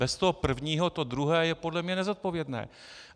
Bez toho prvního to druhé je podle mě nezodpovědné.